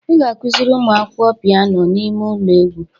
"Ị ga-akụziri ụmụ akwụkwọ piano n'ime ụlọ egwu"